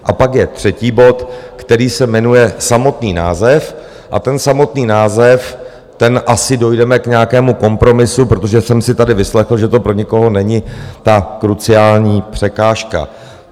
A pak je třetí bod, který se jmenuje - samotný název - a ten samotný název, tam asi dojdeme k nějakému kompromisu, protože jsem si tady vyslechl, že to pro někoho není ta kruciální překážka.